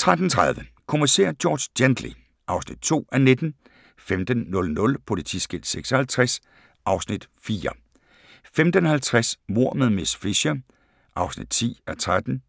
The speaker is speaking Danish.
13:30: Kommissær George Gently (2:19) 15:00: Politiskilt 56 (Afs. 4) 15:50: Mord med miss Fisher (10:13)